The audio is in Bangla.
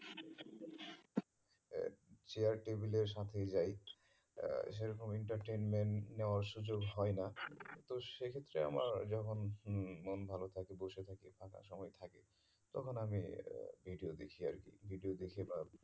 চেয়ার টেবিলের সাথেই যাই আহ সেরকম entertainment নেওয়ার সুযোগ হয়ে না তো সেক্ষেত্রে আমার যখন মন ভালো থাকে বসে থাকি ফাঁকা সময় থাকে তখন আমি video দেখি আর কি video দেখি বা